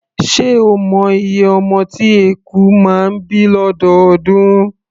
Ṣé ẹ mọ iye ọmọ tí eku máa ń bí lọ́dọọdún?